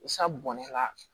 bɔn ne la